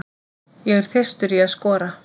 Ég er þyrstur í að skora.